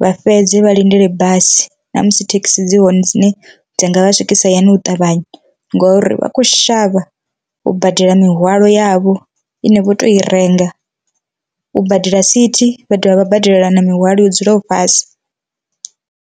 vha fhedze vha lindele basi namusi thekisi dzi hone dzine dza nga vha swikisa hayani u ṱavhanya ngori vha kho shavha u badela mihwalo yavho ine vho to i renga u badela sithi vha dovha vha badela na mihwalo yo dzulaho fhasi.